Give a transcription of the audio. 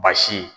Basi